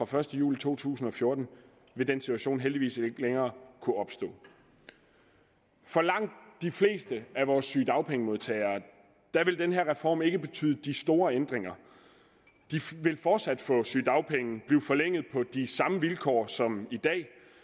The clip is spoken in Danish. første juli to tusind og fjorten vil den situation heldigvis ikke længere kunne opstå for langt de fleste af vores sygedagpengemodtagere vil den her reform ikke betyde de store ændringer de vil fortsat få sygedagpenge og blive forlænget på de samme vilkår som i dag